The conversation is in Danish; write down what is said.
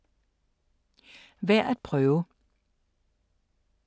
Værd at prøve